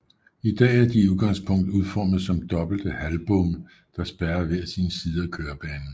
I dag er de udgangspunkt udformet som dobbelte halvbomme der spærrer hver sin side af kørebanen